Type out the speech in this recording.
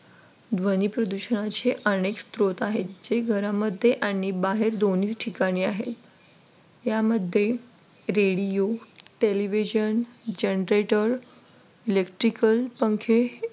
ध्वनी प्रदूषणाचे अनेक स्त्रोत आहेत जे घरामध्ये आणि बाहेर दोन्ही ठिकाणी आहेत यामध्ये Radio, television, genrater, electricals पंखे हे